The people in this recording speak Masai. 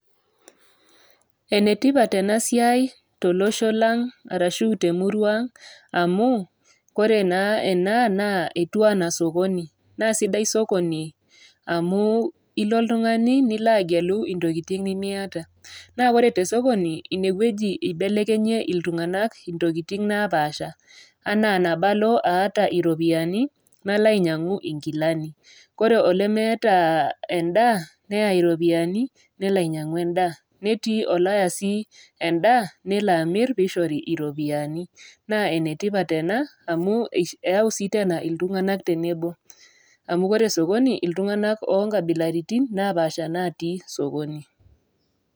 Ene tipat ena siai tolosho lang' ashu te emurua aang' amu Kore naa ena naa etiu anaa sokoni, naa sidai sokoni amu ilo oltung'ani nilo agelu intokitin nimiata, naa ore te sokoni ine wueji eibelekenyie iltung'ana intokitin napaasha, anaa nabo alo aata iropiani, nalo ainyang'u inkilani, ore olemeeta endaa neya iropiani nelo ainyang'u endaa, netii olaya sii endaa nelo amir pee eishoori iropiani. Naa ene tipat ena amu eyau sii teena iltung'ana tenebo, amu ore sokoni naa iltung'ana oo nkabilaritin napaasha natii sokoni.